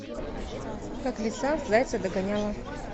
как лиса зайца догоняла